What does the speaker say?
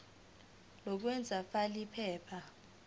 lokwengeza fal iphepha